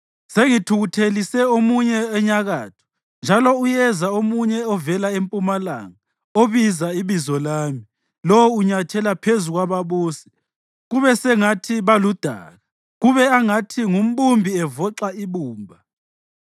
Sengithukuthelise omunye enyakatho, njalo uyeza omunye ovela empumalanga obiza ibizo lami. Lowo unyathela phezu kwababusi kube sengathi baludaka, kube angathi ngumbumbi evoxa ibumba.